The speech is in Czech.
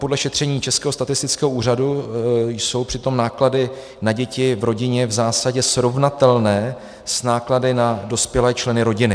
Podle šetření Českého statistického úřadu jsou přitom náklady na děti v rodině v zásadě srovnatelné s náklady na dospělé členy rodiny.